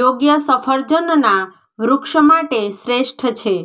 યોગ્ય સફરજનના વૃક્ષ માટે શ્રેષ્ઠ છે